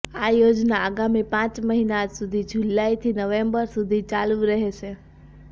આ યોજના આગામી પાંચ મહિના સુધી જુલાઈથી નવેમ્બર સુધી ચાલુ રહેશે